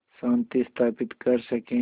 शांति स्थापित कर सकें